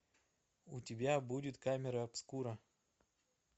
у тебя будет камера обскура